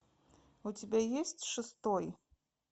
у тебя есть шестой